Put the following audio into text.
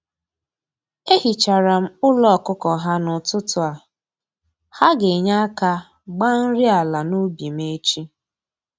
E hichara m ụlọ ọkụkọ ha n'ụtụtụ a, ha ga-enye aka gbaa nri ala n'ubi m echi